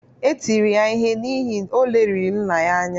Etiri ya ihe n’ihi, o leliri nna ya anya